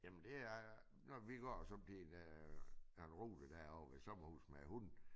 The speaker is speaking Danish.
Jamen det er når vi går sådan en øh en rute derovre ved sommerhus med hunden